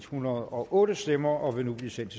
hundrede og otte stemmer og vil nu blive sendt